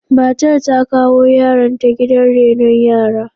Matar ta kawo yaronta gidan renon yara.